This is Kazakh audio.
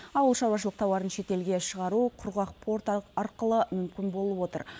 ауылшаруашылық тауарын шетелге шығару құрғақ порт арқылы мүмкін болып отыр